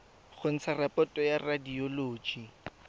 go ntsha raporoto ya radioloji